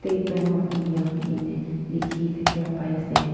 State bank of India koikena leakhi thakhia pai ase.